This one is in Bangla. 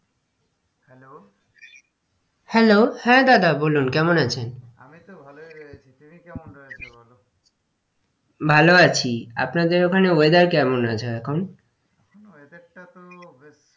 Hello hello হ্যাঁ দাদা বলুন কেমন আছেন? আমিতো ভালোই রয়েছি তুমি কেমন রয়েছো বলো? আলোআছি আপনাদের ওখানে weather কেমন আছে এখন? weather টাতো বেশ,